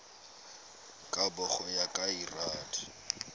kabo go ya ka lrad